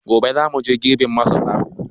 Gobe za mu je girbin masara.